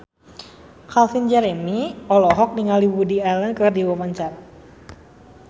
Calvin Jeremy olohok ningali Woody Allen keur diwawancara